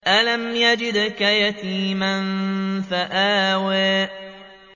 أَلَمْ يَجِدْكَ يَتِيمًا فَآوَىٰ